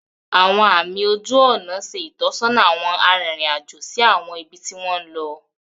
Awọn àmì ojú ònà ṣe itọsọna awọn aririn ajo si awọn ibi ti wọn lọ.